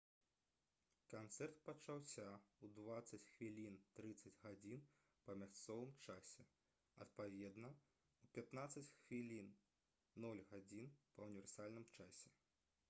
канцэрт пачаўся ў 20:30 па мясцовым часе адпаведна у 15:00 па ўніверсальным часе